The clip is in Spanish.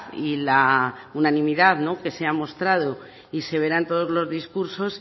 y la unanimidad que se ha mostrado y se verá en todos los discursos